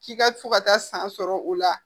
K'i ka fo ka taa san sɔrɔ o la